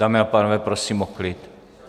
Dámy a pánové, prosím o klid!